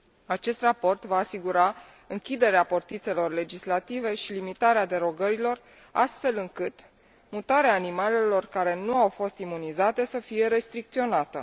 Acest raport va asigura închiderea portițelor legislative și limitarea derogărilor, astfel încât mutarea animalelor care nu au fost imunizate să fie restricționată.